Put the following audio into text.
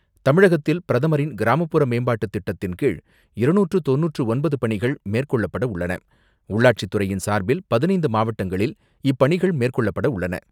தமிழகத்தில் பிரதமரின் கிராமப்புற மேம்பாட்டு திட்டத்தின் கீழ் இருநூற்று தொண்ணூற்று தொன்பது பணிகள் மேற்கொள்ளப்பட உள்ளாட்சித் துறையின் சார்பில் பதினைந்து மாவட்டங்களில் இப்பணிகள் மேற்கொள்ளப்பட உள்ளன.